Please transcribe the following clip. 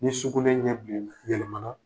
Ni sugunɛ ɲɛ bilenna yɛlɛmana